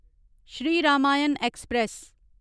Shri Ramayan express